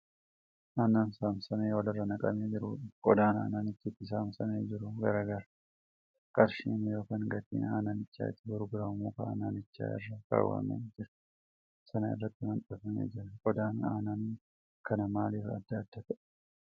Aannan saamsamee walirra naqamee jirudha. Qodaan aannanichi itti saamsamee jiru gara gara. Qarshiin yookaan gatiin aannanichi itti gurguramu muka aannanichi irra kaawwamee jiru sana irratti maxxanfamee jira. Qodaan aannan kanaa maalif adda adda ta'ee?